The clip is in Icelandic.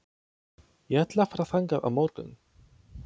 Ég ætla að fara þangað á morgun.